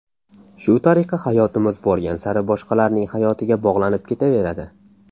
Shu tariqa hayotimiz borgan sari boshqalarning hayotiga bog‘lanib ketaveradi.